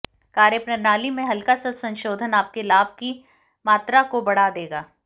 कार्य प्रणाली में हलका सा संशोधन आपके लाभ की मात्रा को बढ़ा देगा